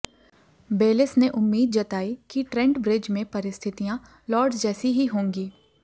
बेलिस ने उम्मीद जताई कि ट्रेंट ब्रिज में परिस्थितियां लॉर्ड्स जैसी ही होंगी